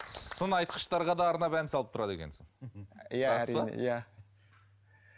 сын айтқыштарға да арнап ән салып тұрады екенсің